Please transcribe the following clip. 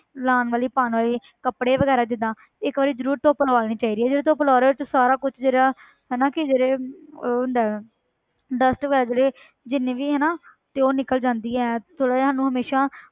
ਲਾਉਣ ਵਾਲੀ ਪਾਉਣ ਵਾਲੀ ਕੱਪੜੇ ਵਗ਼ੈਰਾ ਜਿੱਦਾਂ ਇੱਕ ਵਾਰੀ ਜ਼ਰੂਰ ਧੁੱਪ ਲਵਾ ਲੈਣੀ ਚਾਹੀਦੀ ਹੈ ਜਦੋਂ ਧੁੱਪ ਲਵਾ ਲਓ ਉਹ ਚੋਂ ਸਾਰਾ ਕੁਛ ਜਿਹੜਾ ਹਨਾ ਕਿ ਜਿਹੜੇ ਉਹ ਹੁੰਦਾ ਹੈ dust ਵਗ਼ੈਰਾ ਜਿਹੜੀ ਜਿੰਨੀ ਵੀ ਹਨਾ ਤੇ ਉਹ ਨਿਕਲ ਜਾਂਦੀ ਹੈ ਥੋੜ੍ਹਾ ਜਿਹਾ ਉਹਨੂੰ ਹਮੇਸ਼ਾ